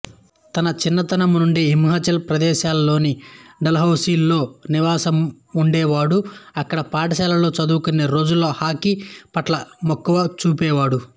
తన చిన్నతనంనుండే హిమాచల్ ప్రదేశ్లోని డల్హౌసి లో నివాసముండేవాడు అక్కడే పాఠశాలలో చదువుకునే రోజుల్లో హాకీ పట్ల మక్కువ చూపేవాడు